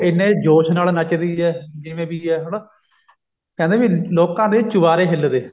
ਇੰਨੇ ਜੋਸ਼ ਨਾਲ ਨੱਚਦੀ ਏ ਜਿਵੇਂ ਵੀ ਹੈ ਹਨਾ ਕਹਿੰਦਾ ਵੀ ਲੋਕਾਂ ਦੇ ਚੁਬਾਰੇ ਹਿੱਲਦੇ